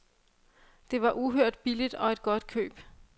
Det var uhørt billigt og et godt køb.